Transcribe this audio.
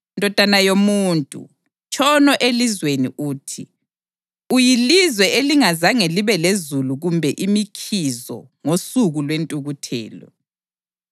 “Ndodana yomuntu, tshono elizweni uthi, ‘Uyilizwe elingazange libe lezulu kumbe imikhizo ngosuku lwentukuthelo.’